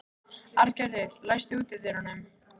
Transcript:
Arngerður, læstu útidyrunum.